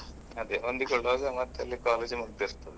ಅದೇ ಹೊಂದಿಕೊಳ್ಳುವಾಗ ಮತ್ತೆ ಅಲ್ಲಿ college ಮುಗ್ದಿರ್ತದೆ.